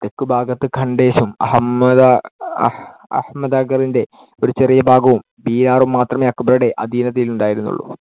തെക്കുഭാഗത്ത് ഖണ്ഡേഷും അഹമ്മദാ~ അഹ~ അഹമ്മദ്‌നഗറിന്‍ടെ ഒരു ചെറിയ ഭാഗവും, ബീഹാറും മാത്രമെ അക്ബറുടെ അധീനതയിലുണ്ടായിരുന്നുളളു.